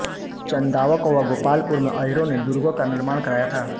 चंदवाक व गोपालपुर में अहीरों ने दुर्गों का निर्माण कराया था